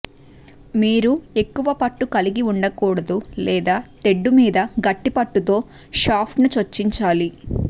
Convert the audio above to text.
మీరు ఎక్కువ పట్టు కలిగి ఉండకూడదు లేదా తెడ్డు మీద గట్టి పట్టుతో షాఫ్ట్ను చొక్కించాలి